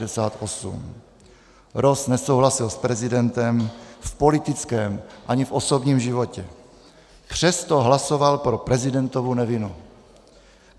Ross nesouhlasil s prezidentem v politickém ani v osobním životě, přesto hlasoval pro prezidentovu nevinu.